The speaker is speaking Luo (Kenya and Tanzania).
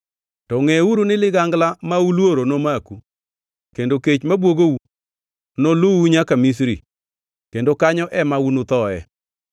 to ngʼeuru ni ligangla ma uluoro nomaku, kendo kech mabwogou noluu nyaka Misri, kendo kanyo ema unuthoe.